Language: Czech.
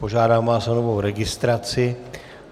Požádám vás o novou registraci.